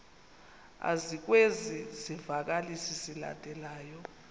ezikwezi zivakalisi zilandelayo